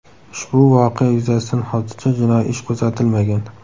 Ushbu voqea yuzasidan hozircha jinoiy ish qo‘zg‘atilmagan.